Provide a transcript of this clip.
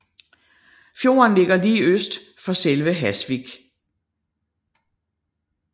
Fjorden ligger lige øst for selve Hasvik